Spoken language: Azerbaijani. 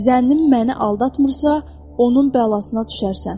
Zənnim məni aldatmırsa, onun bəlasına düşərsən.